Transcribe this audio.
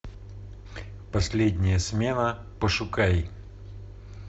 последняя смена пошукай